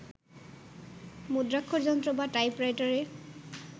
মুদ্রাক্ষরযন্ত্র বা টাইপরাইটারে